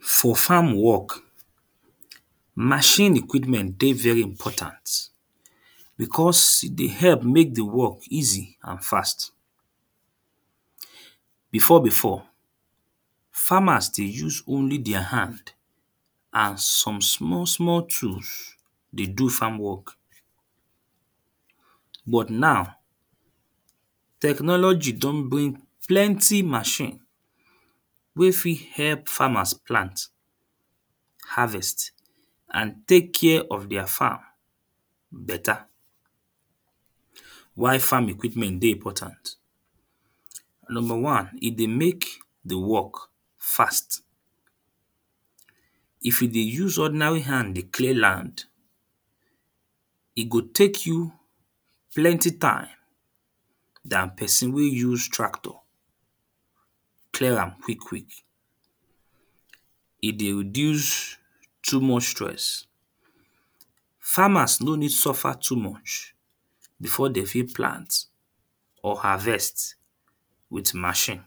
For farm work machine equipment dey very important. Because e dey help make the work easy and fast. Before before farmers dey use only their hand and some small small tools dey do farm work. But now technology don bring plenty machine wey fit help farmers plant, harvest and take care of their farm better. Why farm equipment dey important? Number one: E dey make the work fast. If you dey use ordinary hand dey clear land e go take you plenty time than person wey use tractor clear am quick quick. E dey reduce too much stress. farmers no need suffer too much before de fit plant or harvest with machine.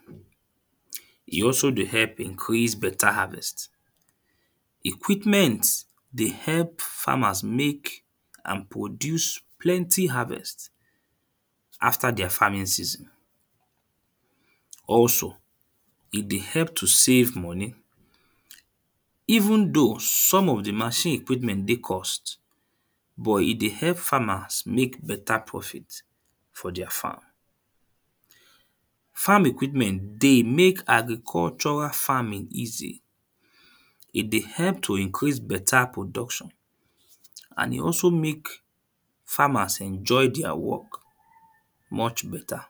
E also dey help increase better harvest. Equipment dey help farmers make and produce plenty harvest after their farming season. Also e dey help to save money even though some of the machine equipment dey cost but e dey help farmers make better profit for their farm. Farm equipment dey make agricultural farming easy. E dey help to increase better production and e also make farmers enjoy their work much better.